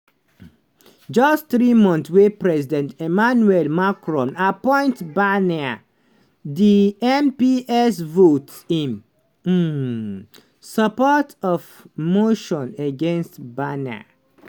just three months wey president emmanuel macron appoint barnier di mps vote in um support of di motion against barnier.